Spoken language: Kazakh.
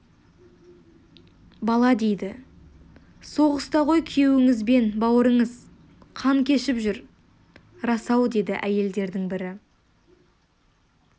бала дейді соғыста ғой күйеуіңіз бен бауырыңыз қан кешіп жүр рас-ау деді әйелдердің бірі